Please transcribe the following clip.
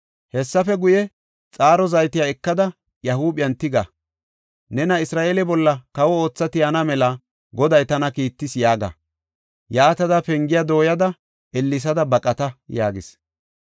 Hessafe guye, xaaro zaytiya ekada, iya huuphiyan tigada, ‘Nena Isra7eele bolla kawo ootha tiyana mela Goday tana kiittis’ yaaga. Yaatada pengiya dooyada, ellesada baqata” yaagis.